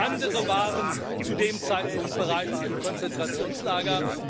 andere waren zu dem Zeitpunkt bereits im Konzentrationslager.